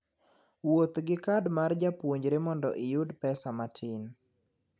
Wuoth gi kad mar japuonjre mondo iyud pesa matin.